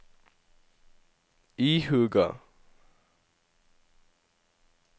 ihuga